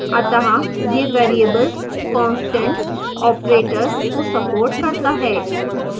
अतः यह variables constants operators को supports करता है